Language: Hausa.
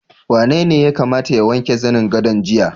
Wanene ya kamata ya wanke zanen gadon jiya?